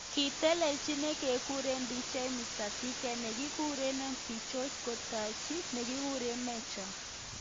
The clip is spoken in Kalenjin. kitelejin nekikure Dj Mr .T ak nekikure MC Jose kotajei nekikure Mejja.